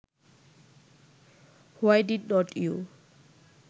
why did not you